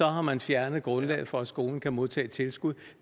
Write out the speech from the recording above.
har man fjernet grundlaget for at skolen kan modtage tilskud